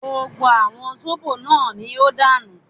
Gbogbo àwọn zóbò náà ní ó dànù